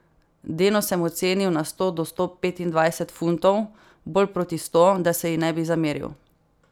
Denno sem ocenil na sto do sto petindvajset funtov, bolj proti sto, da se ji ne bi zameril.